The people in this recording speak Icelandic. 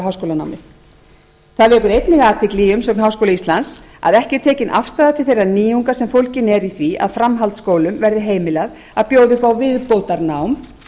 háskólanámið það vekur einnig athygli í umsögn háskóla íslands að ekki er tekin afstaða til þeirra nýjunga sem fólgin eru í því að framhaldsskólum verði heimilað að bjóða upp á viðbótarnám